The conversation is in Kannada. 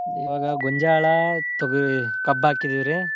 ಇವಾಗ ಗೋಂಜಾಳ, ತೋಗ್~, ಕಬ್ಬ್ ಹಾಕಿದೀವ್ರಿ.